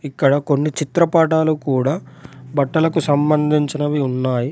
ఇక్కడ కొన్ని చిత్రపటాలు కూడా బట్టలకు సంబంధించినవి ఉన్నాయి.